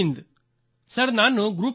sir ನಾನು group captain A